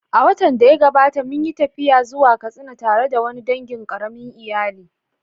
A watan da ya gabata, mun yi tafiya zuwa Katsina tare da wani dangin ƙaramin iyali